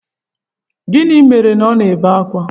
Gịnị mere ọ na-ebe akwa?